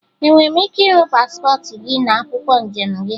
Enwere m ike ịhụ paspọtụ gị na akwụkwọ njem gị?